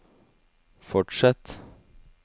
fortsett